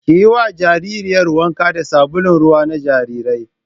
Ki yi wa jaririyar wanka da sabulun ruwa na jarirai